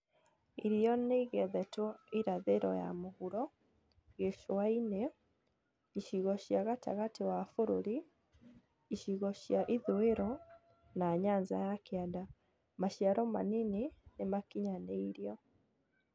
Irio niĩgethetwo irathĩro ya mũhuro, gĩcũa-inĩ, icigo cia gatagati wa bũrũri, icigo cia ithũũĩro na Nyanza ya Kianda maciaro manini nĩmakinyanĩirio